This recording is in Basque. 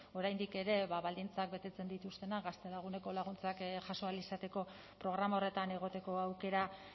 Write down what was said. oraindik ere baldintzak betetzen dituztenak gaztelaguneko laguntzak jaso ahal izateko programa horretan egoteko aukera